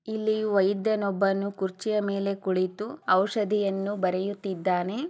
ಇಲ್ಲಿ ವೈದ್ಯನೊಬ್ಬನು ಕುರ್ಚಿಯ ಮೇಲೆ ಕುಳಿತು ವರುಷಗಳ ಚ ದಿಯನ್ನು ಬರೆಯುತ್ತಿದ್ದಾನೆ.